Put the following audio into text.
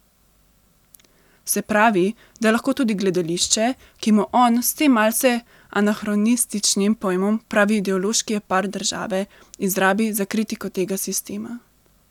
Se pravi, da lahko tudi gledališče, ki mu on s tem malce anahronističnim pojmom pravi ideološki aparat države, izrabi za kritiko tega sistema.